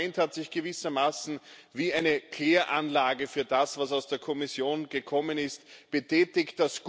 Das Parlament hat sich gewissermaßen wie eine Kläranlage für das, was aus der Kommission gekommen ist, betätigt.